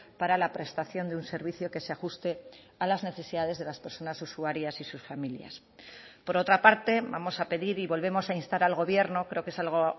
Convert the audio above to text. para la prestación de un servicio que se ajuste a las necesidades de las personas usuarias y sus familias por otra parte vamos a pedir y volvemos a instar al gobierno creo que es algo